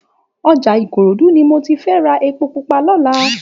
Òjá Ikorodu ni mó ti fè rá épó púpà lòlá